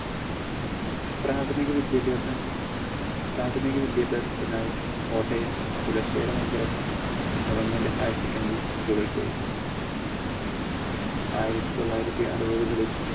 പ്രാഥമിക വിദ്യാഭ്യാസം പ്രാഥമിക വിദ്യാഭ്യാസത്തിനായി kottayam kulasekara mangalam government higher secondary school ളിൽ പോയി. ആയിരത്തി തൊള്ളായിരത്തി അറുപതുകളിൽ